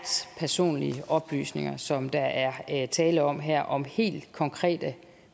personlige oplysninger som der er tale om her om helt konkrete